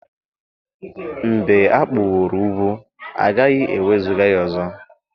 mb͕e akpuworo ugwu agaghi-ewezuga ya ọzọ